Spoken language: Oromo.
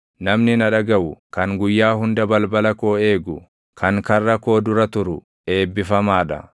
Namni na dhagaʼu, kan guyyaa hunda balbala koo eegu, kan karra koo dura turu eebbifamaa dha.